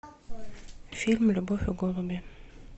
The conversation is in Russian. фильм любовь и голуби